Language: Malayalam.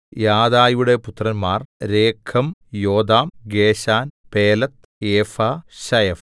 യാദയുടെ പുത്രന്മാർ Regem Jotham Geshan Pelet Ephah ശയഫ്